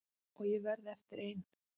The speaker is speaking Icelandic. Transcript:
Og ég varð eftir ein.